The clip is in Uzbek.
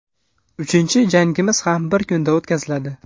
Uchinchi jangimiz ham bir kunda o‘tkaziladi.